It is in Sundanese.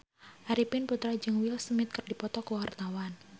Arifin Putra jeung Will Smith keur dipoto ku wartawan